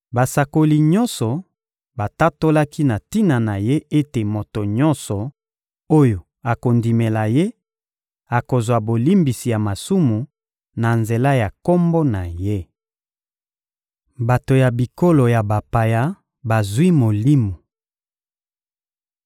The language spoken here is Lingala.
Basakoli nyonso batatolaki na tina na Ye ete moto nyonso oyo akondimela Ye akozwa bolimbisi ya masumu na nzela ya Kombo na Ye. Bato ya bikolo ya bapaya bazwi Molimo